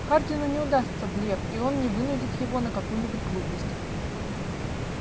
хардину не удастся блеф и он не вынудит его на какую-нибудь глупость